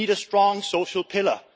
We need a strong social pillar.